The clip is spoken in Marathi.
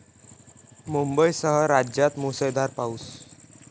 मुंबईसह राज्यात मुसळधार पाऊस